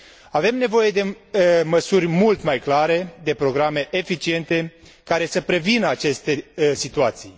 Avem nevoie de măsuri mult mai clare, de programe eficiente care să prevină aceste situații.